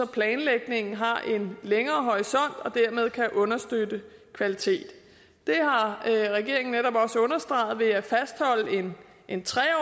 planlægningen har en længere horisont og dermed kan understøtte kvaliteten det har regeringen netop også understreget ved at fastholde en tre